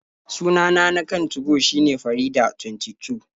Sunana na kan 2go shine Faridah22.